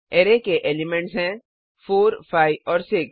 array के elements हैं 4 5 और 6